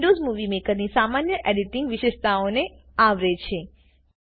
આ Windows movie મેકરની સામાન્ય એડીટીંગ વિશેષતાઓને આવરે છે